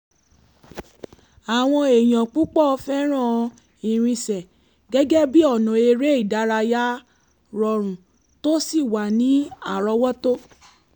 àwọn èèyàn púpọ̀ fẹ́ràn ìrìnsẹ̀ gẹ́gẹ́ bí ọ̀nà eré ìdárayá rọrùn tó sì wà ní àrọ́wọ́tó